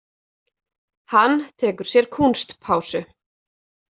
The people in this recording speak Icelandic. Hann tekur sér kúnstpásu.